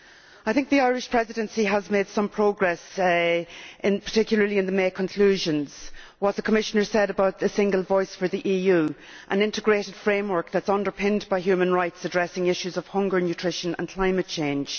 I think the Irish Presidency has made some progress, particularly in the May conclusions. I recall what the Commissioner said about a single voice for the EU and an integrated framework that is underpinned by human rights addressing issues of hunger, nutrition and climate change.